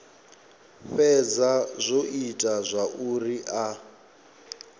fhedza zwo ita zwauri a